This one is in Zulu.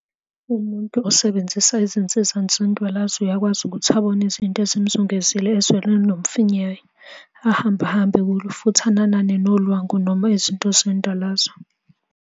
Umuntu osebenzisa izinsiza zendwalazo uyakwazi ukuthi abone izinto ezimzungezile ezweni elinomfiyiwe, ahamba hambe kulo, futhi ananane nolwangu noma Izinto zendwalazo.